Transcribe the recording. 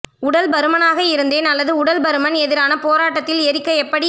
உடல் பருமனாக இருந்தேன் அல்லது உடல் பருமன் எதிரான போராட்டத்தில் எரிக்க எப்படி